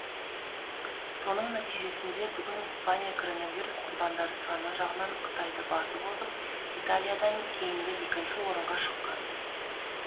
соның нәтижесінде бүгін испания коронавирус құрбандары саны жағынан қытайды басып озып италиядан кейінгі екінші орынға шыққан